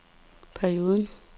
perioden